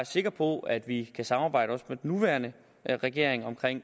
sikker på at vi kan samarbejde også med den nuværende regering om